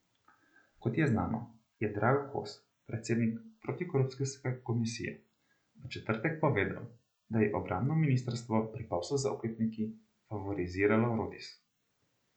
Kot je znano, je Drago Kos, predsednik protikorupcijske komisije, v četrtek povedal, da je obrambno ministrstvo pri poslu z oklepniki favoriziralo Rotis.